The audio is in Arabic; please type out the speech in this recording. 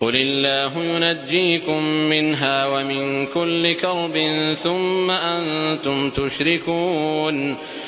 قُلِ اللَّهُ يُنَجِّيكُم مِّنْهَا وَمِن كُلِّ كَرْبٍ ثُمَّ أَنتُمْ تُشْرِكُونَ